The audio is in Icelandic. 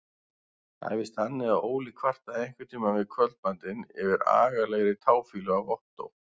Það var víst þannig að Óli kvartaði einhverntíma við kvöldmatinn yfir agalegri táfýlu af Ottó.